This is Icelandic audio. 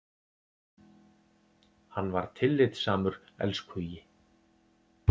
Hann var tillitssamur elskhugi.